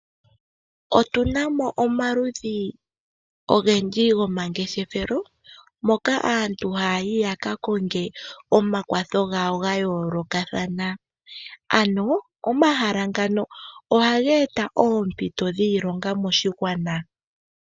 Otunamo omaludhi ogendji gomangeshethelo moka aantu haya yi yaka konge omakwatho gawo ga yolokathana ano omahala ngano ohaga eta oompito dhiilonga moshigwana.